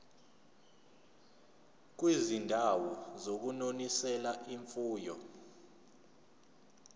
kwizindawo zokunonisela imfuyo